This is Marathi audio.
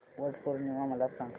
वट पौर्णिमा मला सांग